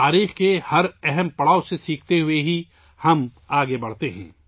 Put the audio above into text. تاریخ کے ہر اہم مرحلے سے سبق سیکھ کر ہم آگے بڑھتے ہیں